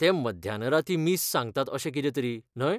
ते मध्यानरातीं मीस सांगतात अशें कितें तरी, न्हय?